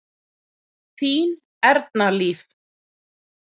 Þín Erna Líf.